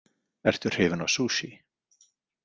Ertu hrifin af sushi?